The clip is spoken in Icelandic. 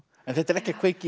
þetta er ekki að kveikja í